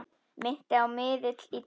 Minnti á miðil í trans.